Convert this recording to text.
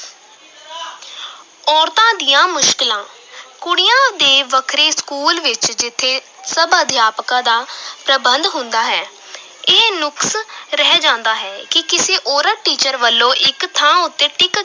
ਔਰਤਾਂ ਦੀਆਂ ਮੁਸ਼ਕਲਾਂ ਕੁੜੀਆਂ ਦੇ ਵੱਖਰੇ school ਵਿਚ ਜਿੱਥੇ ਸਭ ਅਧਿਆਪਕਾਂ ਦਾ ਪ੍ਰਬੰਧ ਹੁੰਦਾ ਹੈ ਇਹ ਨੁਕਸ ਰਹਿ ਜਾਂਦਾ ਹੈ ਕਿ ਕਿਸੇ ਔਰਤ teacher ਵਲੋਂ ਇਕ ਥਾਂ ਉੱਤੇ ਟਿੱਕ